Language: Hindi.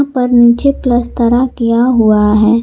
ऊपर नीचे प्लास्तरा किया हुआ है।